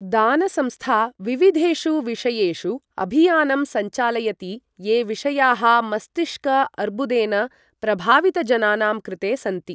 दान संस्था विविधेषु विषयेषु अभियानं सञ्चालयति ये विषयाः मस्तिष्क अर्बुदेन प्रभावितजनानां कृते सन्ति।